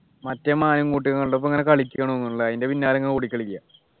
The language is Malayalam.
മറ്റേ മാന് കൂട്ടി കണ്ടപ്പോ ഇങ്ങനെ കളിക്കുണു അതിൻ്റെ പിന്നാലെ ഇങ്ങനെ ഓടിക്കളിക്ക